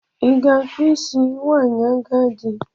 I ga-akpụ isi nwanyị ajadu?